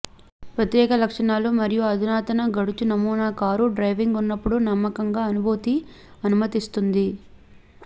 ప్రత్యేక లక్షణాలు మరియు అధునాతన గడుచు నమూనా కారు డ్రైవింగ్ ఉన్నప్పుడు నమ్మకంగా అనుభూతి అనుమతిస్తుంది